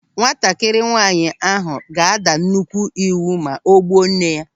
Nwatakịrị nwaanyị ahụ ga-ada nnukwu ịwụ ma o gbuo nne ya.